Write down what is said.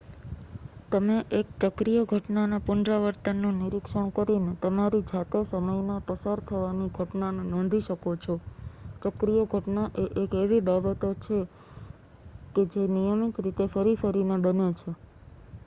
તમે એક ચક્રીય ઘટનાના પુનરાવર્તનનું નિરીક્ષણ કરીને તમારી જાતે સમયના પસાર થવાની ઘટનાને નોંધી શકો છો ચક્રીય ઘટના એ એક એવી બાબત છે કે જે નિયમિત રીતે ફરી ફરીને બને છે